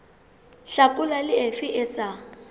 hlakola le efe e sa